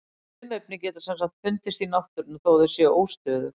Frumefni geta sem sagt fundist í náttúrunni þó að þau séu óstöðug.